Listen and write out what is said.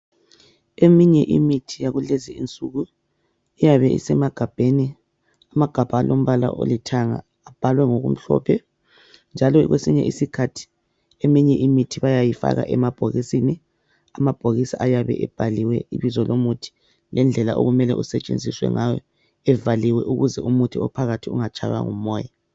Eminye imithi yakulezinsuku iyabe isemagabheni, amagabha alombala olithanga abhalwe ngokumhlophe njalo kwesinye isikhathi eminye imithi bayayifaka emabhokisini, amabhokisi ayebhaliwe ibizo lomuthi lendlela okumele usetshenziswe ngayo evaliwe ukuze umuthi ophakathi ungatshaywa ngumoya